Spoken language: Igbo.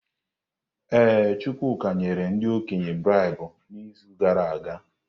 Ee, Chukwuka nyere ndị okenye braibu n’izu gara aga.